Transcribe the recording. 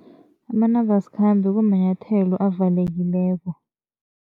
Amanambasikhambe kumanyathelo avalekileko.